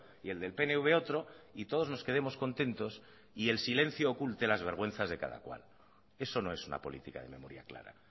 y el del pnv otro y todos nos quedemos contentos y el silencio oculte las vergüenzas de cada cual eso no es una política de memoria clara